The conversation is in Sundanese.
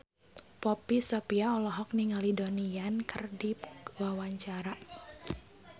Poppy Sovia olohok ningali Donnie Yan keur diwawancara